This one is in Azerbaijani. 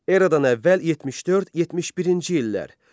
Eradan əvvəl 74-71-ci illər.